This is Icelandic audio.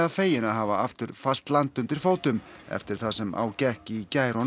fegin að hafa aftur fast land undir fótum eftir það sem á gekk í gær og